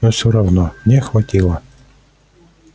но всё равно мне хватило